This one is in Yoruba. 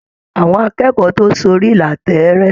Àwọn akẹ́kọ̀ọ́ tó sórí ìlà tẹẹrẹ.